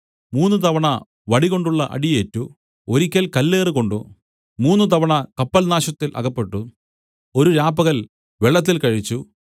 മൂന്നുതവണ വടികൊണ്ടുള്ള അടിയേറ്റു ഒരിക്കൽ കല്ലേറ് കൊണ്ട് മൂന്നുതവണ കപ്പൽനാശത്തിൽ അകപ്പെട്ടു ഒരു രാപ്പകൽ വെള്ളത്തിൽ കഴിച്ചു